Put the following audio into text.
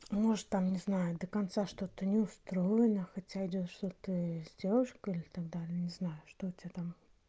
может там не знаю до конца что-то не устроена хотя видел что ты с девушкой и так далее не знаю что у тебя там